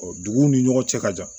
duguw ni ɲɔgɔn cɛ ka jan